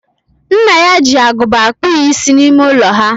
Nna ya ji agụba akpụ ya isi n'ime ụlọ ha.